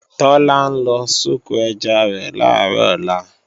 Tọ́lá ń lọ soko ẹja rẹ̀ làárọ̀ ọ̀la